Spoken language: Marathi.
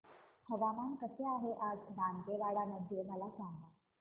हवामान कसे आहे आज दांतेवाडा मध्ये मला सांगा